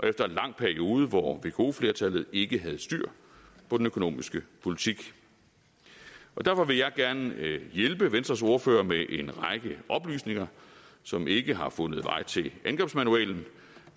efter en lang periode hvor vko flertallet ikke havde styr på den økonomiske politik og derfor vil jeg gerne hjælpe venstres ordfører med en række oplysninger som ikke har fundet vej til angrebsmanualen